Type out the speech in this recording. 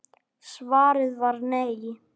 Svarið var nei.